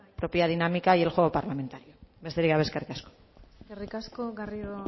por propia dinámica y el juego parlamentario besterik gabe eskerrik asko eskerrik asko garrido